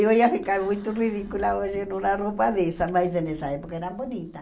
Eu ia ficar muito ridícula hoje numa roupa dessa, mas nessa época era bonita.